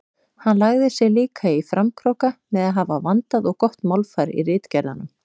Hann lagði sig líka í framkróka með að hafa vandað og gott málfar í ritgerðunum.